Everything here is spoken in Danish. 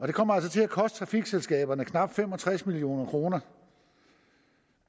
det kommer altså til at koste trafikselskaberne knap fem og tres million kroner